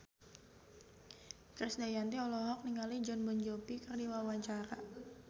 Krisdayanti olohok ningali Jon Bon Jovi keur diwawancara